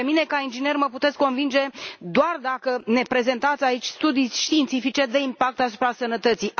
Pe mine, ca inginer, mă puteți convinge doar dacă ne prezentați aici studii științifice de impact asupra sănătății.